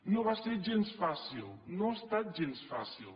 no va ser gens fàcil no ha estat gens fàcil